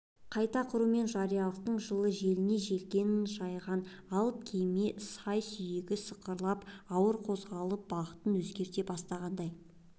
қайта құру мен жариялылықтың жылы желіне желкенін жайған алып кеме сай-сүйегі сықырлап ауыр қозғалып бағытын өзгерте бастағандай